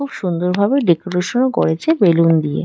খুব সুন্দর ভাবে ডেকোরেশন করছে বেলুন দিয়ে।